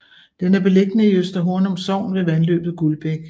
Den er beliggende i Øster Hornum Sogn ved vandløbet Guldbæk